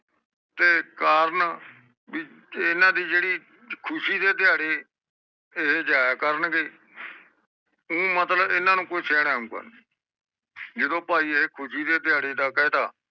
ਤੇ ਕਰਨ ਬੀ ਇਹਨਾਂ ਦੀ ਜਿਹੜੀ ਖੁਸ਼ੀ ਦੇ ਦਿਹਾੜੇ ਏਹੇ ਜਾਯਾ ਕਰਨ ਗੇ ਓ ਮਤਲਬ ਇਹਨਾਂ ਨੂੰ ਸਹੇੜੋ ਗਾ ਨਹੀਂ ਜਿਦੋ ਪਾਈ ਇਹ ਖੁਸ਼ੀ ਦੇ ਦਿਹਾੜੇ ਦਾ ਕ਼ਾਇਦਾ